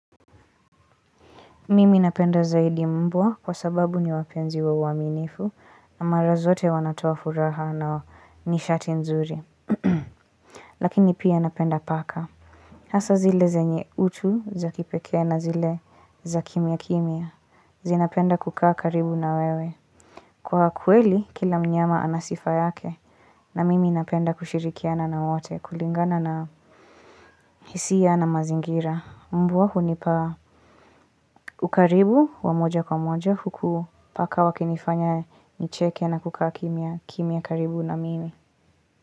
Mimi napenda zaidi mbwa kwa sababu ni wapenzi wa uaminifu na mara zote wanatoa furaha na nishati nzuri Lakini pia napenda paka Hasa zile zenye utu za kipekee na zile za kimya kimya zinapenda kukaa karibu na wewe Kwa kweli kila mnyama ana sifa yake na mimi napenda kushirikiana na wote kulingana na hisia na mazingira mbwa hunipaa ukaribu wa moja kwa moja huku paka wakinifanya nicheke na kukaa kimya karibu na mimi.